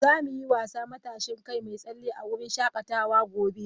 Za mu yi wasa " matashin kai mai tsalle " a wurin shakatawa gobe.